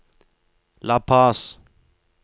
La Paz